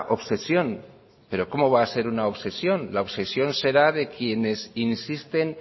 obsesión pero cómo va a ser una obsesión la obsesión será de quienes insisten